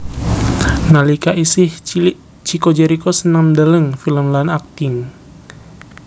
Nalika isih cilik Chico Jericho seneng ndeleng film lan akting